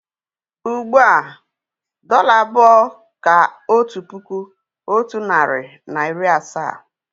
Ugbu a, dọ́là abụọ kà otu puku, otu narị na iri asaa